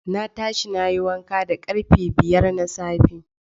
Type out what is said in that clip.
Na tashi nayi wanka da karfe biyar na safe.